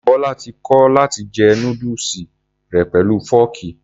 Bọlá ti kọ̀ láti jẹ núdùsù rẹ̀ pẹ̀lú fọ́ọ̀kì.